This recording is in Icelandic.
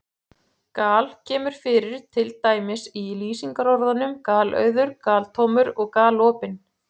Gal- kemur fyrir til dæmis í lýsingarorðunum galauður, galtómur og galopinn.